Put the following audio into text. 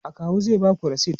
akawu zai Baku resit